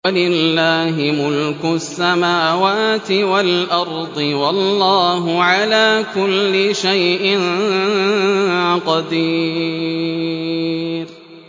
وَلِلَّهِ مُلْكُ السَّمَاوَاتِ وَالْأَرْضِ ۗ وَاللَّهُ عَلَىٰ كُلِّ شَيْءٍ قَدِيرٌ